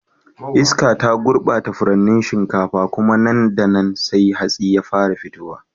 Iska ta gurbata furannin shinkafa, kuma nan da nan sai hatsi ya fara fitowa.